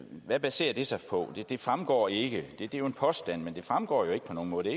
hvad baserer det sig på det fremgår ikke det er jo en påstand men det fremgår ikke på nogen måde det